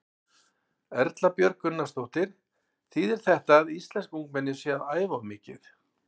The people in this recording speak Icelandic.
Erla Björg Gunnarsdóttir: Þýðir þetta að íslensk ungmenni séu að æfa of mikið?